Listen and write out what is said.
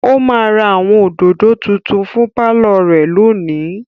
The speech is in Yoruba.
Ó máa ra àwọn òdòdó tuntun fún pálọ̀ rẹ̀ lónìí.